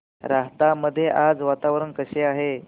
राहता मध्ये आज वातावरण कसे आहे